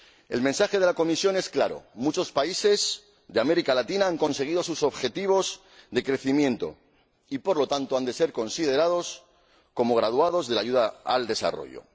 El mensaje de la Comisión es claro muchos países de América Latina han conseguido sus objetivos de crecimiento y, por lo tanto, han de ser considerados como graduados de la ayuda al desarrollo.